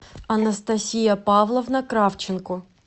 анастасия павловна кравченко